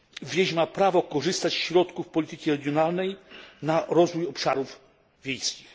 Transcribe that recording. Wieś ma prawo korzystać ze środków polityki regionalnej na rozwój obszarów wiejskich.